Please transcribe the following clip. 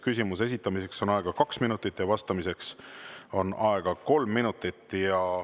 Küsimuse esitamiseks on aega kaks minutit, vastamiseks on aega kolm minutit.